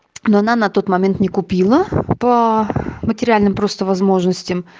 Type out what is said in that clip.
но она на тот момент не купила по материальным просто возможности